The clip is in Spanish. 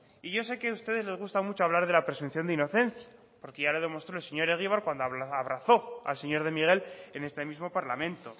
y yo sé que a ustedes les gusta mucho hablar de la presunción de inocencia porque ya lo demostró el señor egibar cuando abrazó al señor de miguel en este mismo parlamento